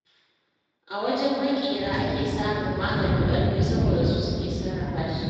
A wajen maƙera ake samun maganin ƙarfe, saboda su suke sarrafa shi.